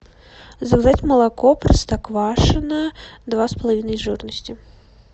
заказать молоко простоквашино два с половиной жирности